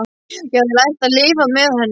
Ég hafði lært að lifa með henni.